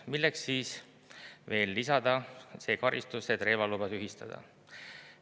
Milleks siis veel lisada see karistus, et relvaluba tühistada?